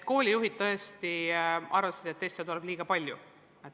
Koolijuhid tõesti arvasid, et teste tuleb liiga palju.